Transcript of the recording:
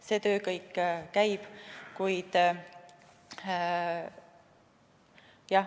See töö kõik käib.